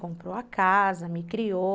Comprou a casa, me criou.